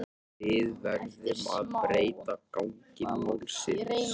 Við verðum að breyta gangi málsins.